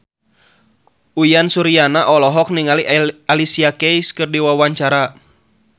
Uyan Suryana olohok ningali Alicia Keys keur diwawancara